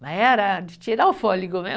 Mas era de tirar o fôlego né